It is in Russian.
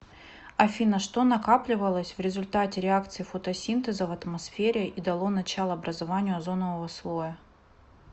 афина что накапливалось в результате реакции фотосинтеза в атмосфере и дало начало образованию озонового слоя